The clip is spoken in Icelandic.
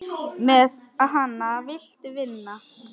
Með hana viltu vinna.